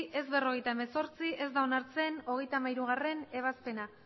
ez berrogeita hemezortzi ez da onartzen hogeita hamairugarrena ebazpena